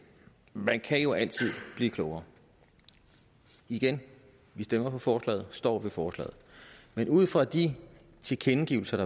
man kan jo altid blive klogere igen vi stemmer for forslaget står ved forslaget men ud fra de tilkendegivelser